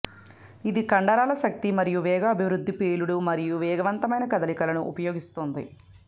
ఇది కండరాల శక్తి మరియు వేగం అభివృద్ధి పేలుడు మరియు వేగవంతమైన కదలికలను ఉపయోగిస్తుంది